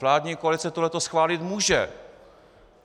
Vládní koalice toto schválit může.